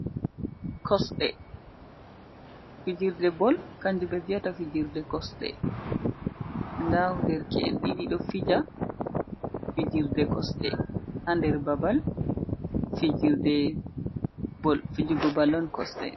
Kosɗe! Fijirde bol kanjum ɓe wi'ata fijirde kosɗe. Nda derke'en ɗiɗi ɗo fija, fijirde kosɗe haa nder babal fijirde bol. Fijugo bol on kosɗe.